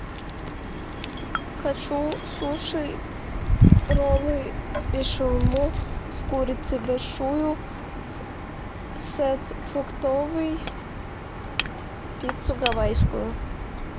хочу суши роллы и шаурму с курицей большую сет фруктовый пиццу гавайскую